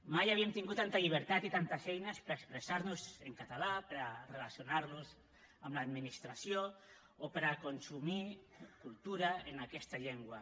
mai havíem tingut tanta llibertat i tantes eines per a expressar nos en català per a relacionar nos amb l’administració o per a consumir cultura en aquesta llengua